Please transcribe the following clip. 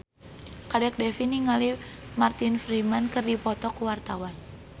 Kadek Devi jeung Martin Freeman keur dipoto ku wartawan